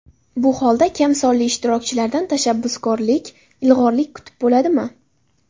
Bu holda kamsonli ishtirokchilardan tashabbuskorlik, ilg‘orlik kutib bo‘ladimi?